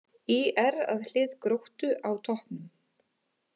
ÍR að hlið Gróttu á toppnum